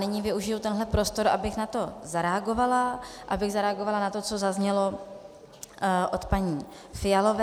Nyní využiji tenhle prostor, abych na ni zareagovala, abych zareagovala na to, co zaznělo od paní Fialové.